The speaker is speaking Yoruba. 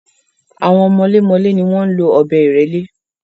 Àwọn mọlémọlẹ́ ni wọ́n ń lo ọ̀bẹ́-ìrẹ́lé.